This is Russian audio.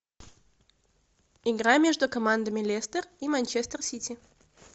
игра между командами лестер и манчестер сити